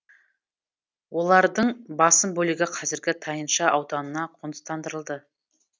олардың басым бөлігі қазіргі тайынша ауданына қоныстандырылды